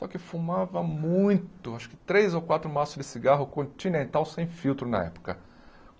Só que fumava muito, acho que três ou quatro maços de cigarro continental, sem filtro, na época.